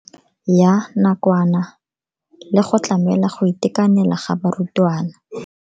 Ya nakwana le go tlamela go itekanela ga barutwana.